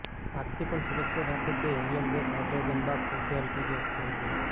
આગથી પણ સુરક્ષિત રાખે છે હિલિયમ ગેસ હાઈડ્રોઝન બાગ સૌથી હલ્કી ગેસ છે હિલિયમ